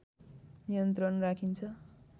नियन्त्रण राखिन्छ